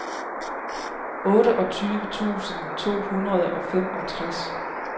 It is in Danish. otteogtyve tusind to hundrede og femogtres